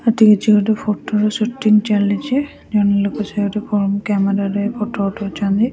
ଏଠି କିଛି ଗୋଟେ ଫୋଟୋର ସୁଟିଂ ଚାଲିଚି ଜଣେ ଲୋକ ଫ୍ରଣ୍ଟ କ୍ୟାମେରା ରେ ଫୋଟୋ ଉଠାଉଛନ୍ତି।